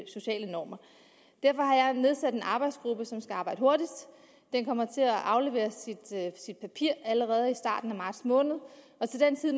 sociale normer derfor har jeg nedsat en arbejdsgruppe som skal arbejde hurtigt den kommer til at aflevere sit papir allerede i starten af marts måned og til den tid